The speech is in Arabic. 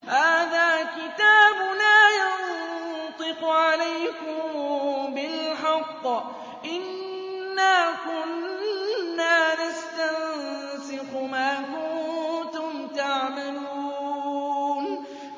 هَٰذَا كِتَابُنَا يَنطِقُ عَلَيْكُم بِالْحَقِّ ۚ إِنَّا كُنَّا نَسْتَنسِخُ مَا كُنتُمْ تَعْمَلُونَ